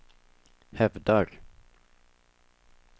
hävdar